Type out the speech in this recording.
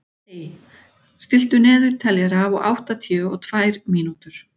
Ey, stilltu niðurteljara á áttatíu og tvær mínútur.